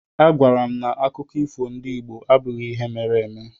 A gwaara m na akụkọ ifo ndị Igbo abụghị ihe mere eme.